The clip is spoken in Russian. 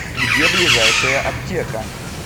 где ближайшая аптека